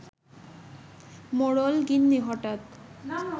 মোড়ল-গিন্নি হঠাৎ